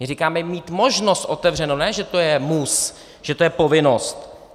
My říkáme mít možnost otevřeno, ne že to je mus, že to je povinnost.